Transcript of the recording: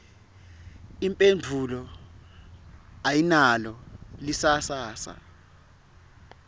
imphendvulo ayinalo lisasasa